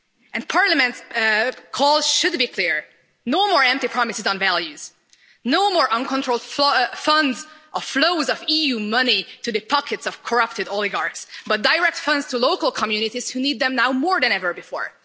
And Parliament's call should be clear no more empty promises on values, no more uncontrolled flows of EU money to the pockets of corrupted oligarchs but direct funds to local communities who need them now more than ever before.